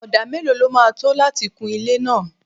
Odà mélòó lọ ma tó láti kun ilé náà?